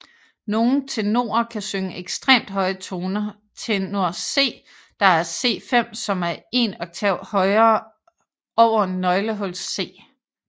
Nogle tenorer kan synge ekstremt høje toner Tenor C der er C5 som er 1 oktav over nøglehuls C